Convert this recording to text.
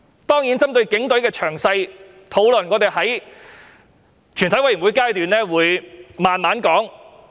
當然，針對警隊的詳細討論，我們會在全體委員會審議階段細說。